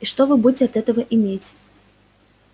и что вы будете от этого иметь